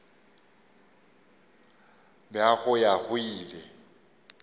bja go ya go ile